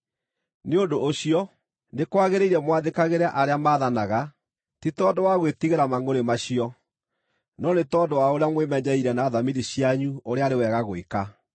Nĩ ũndũ ũcio, nĩ kwagĩrĩire mwathĩkagĩre arĩa maathanaga, ti tondũ wa gwĩtigĩra mangʼũrĩ macio, no nĩ tondũ wa ũrĩa mwĩmenyeire na thamiri cianyu ũrĩa arĩ wega gwĩka.